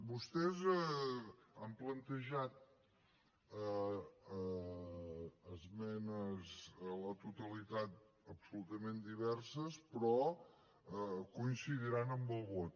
vostès han plantejat esmenes a la totalitat absolutament diverses però coincidiran en el vot